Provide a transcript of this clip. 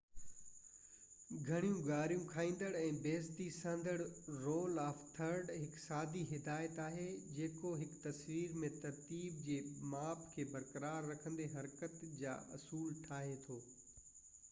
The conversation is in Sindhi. گهڻيون گاريون کائيندڙ ۽ بي عزتي سهندڙ رول آف ٿرڊ هڪ سادي هدايت آهي جيڪو هڪ تصوير ۾ ترتيب جي ماپ کي برقرار رکندي حرڪت جا اصول ٺاهي ٿو